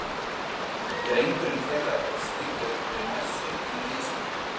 Drengurinn þeirra er skírður við messu í Neskirkju.